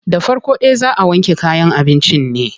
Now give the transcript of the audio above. Da farko dai zaa a wanke kayan abincin ne.